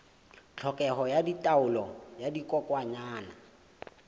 tlhokeho ya taolo ya dikokwanyana